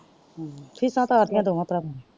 Fees ਤਾਰਤੀਆ ਦੋਨਾਂ ਪ੍ਰਵਾ ਦੀਆਂ।